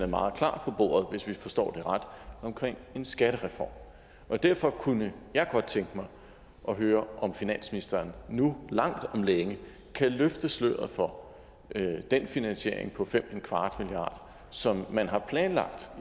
meget klart på bordet hvis vi forstår det ret omkring en skattereform derfor kunne jeg godt tænke mig at høre om finansministeren nu langt om længe kan løfte sløret for den finansiering på 5¼ milliard som man har planlagt